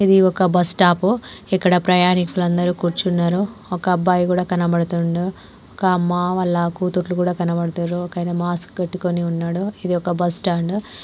ఇది ఒక బస్టాప్ పు ఇక్కడ ప్రయాణికులు అందరూ కూర్చున్నారు. ఒక అబ్బాయి కూడా కనబడుతున్నాడు. ఒక అమ్మ వాళ్ళ కూతుర్లు కూడా కనబడుతుర్రు. ఒక ఆయన మాస్క్ పెట్టుకొని ఉన్నాడు. ఇది ఒక బస్టాండ్ .